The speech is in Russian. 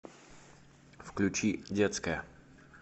включи детская